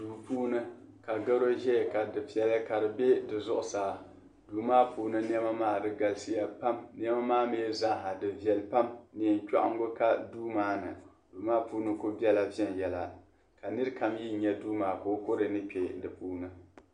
Duu puuni ka garo zaya ka difiɛli ka di be di zuɣusaa. Duu maa puuni nɛma maa di galisiya pam nɛma maa mi zaaha di viɛli pam. Neen' chɔɣiŋgu ka duu maa ni duu maa puuni ku bela viɛnyɛla ka nira kam ni nya duu maa ka o kɔre ni kpe di puuni.